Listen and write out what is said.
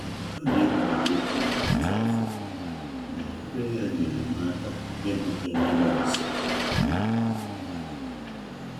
Anyị ekwubeghị okwu ruo ọtụtụ afọ, na ọbịbịa ya nyeere m aka ịmata onwe m ọzọ.